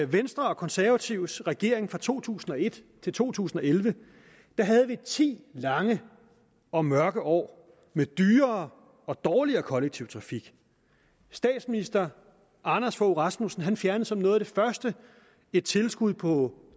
venstre og konservatives regering fra to tusind og et til to tusind og elleve havde vi ti lange og mørke år med dyrere og dårligere kollektiv trafik statsminister anders fogh rasmussen fjernede som noget af det første et tilskud på